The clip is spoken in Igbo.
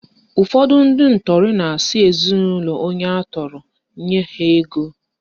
Ụfọdụ ndị ntọrị na-asị ezinaụlọ onye atọrọ nye ha ego